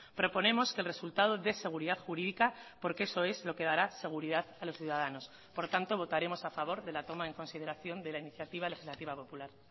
proponemos que el resultado dé seguridad jurídica porque eso es lo que dará seguridad a los ciudadanos por tanto votaremos a favor de la toma en consideración de la iniciativa legislativa popular